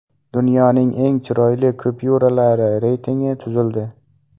Dunyoning eng chiroyli kupyuralari reytingi tuzildi.